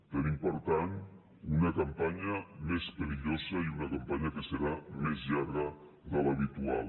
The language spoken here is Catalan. tenim per tant una campanya més perillosa i una campanya que serà més llarga de l’habitual